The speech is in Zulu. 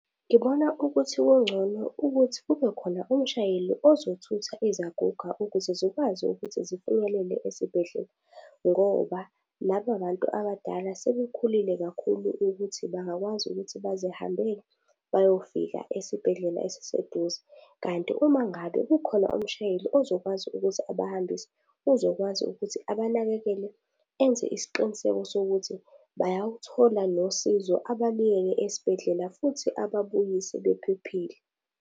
Ngibona ukuthi kungcono ukuthi kubekhona umshayeli ozothutha izaguga ukuze zikwazi ukuthi ziphumelele esibhedlela ngoba laba bantu abadala sebekhulile kakhulu ukuthi bangakwazi ukuthi bazihambele bayofika esibhedlela esiseduze. Kanti uma ngabe kukhona umshayeli ozokwazi ukuthi abahambise, uzokwazi ukuthi abanakekele enze isiqiniseko sokuthi bayaluthola nosizo, ababeke esibhedlela futhi ababuyise bephephile.